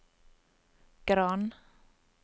Gran